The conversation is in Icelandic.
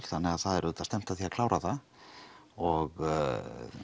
þannig að það er auðvitað stefnt að því að klára það og